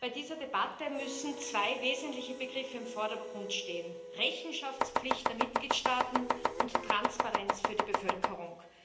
Bei dieser Debatte müssen zwei wesentliche Begriffe im Vordergrund stehen Rechenschaftspflicht der Mitgliedstaaten und Transparenz für die Bevölkerung.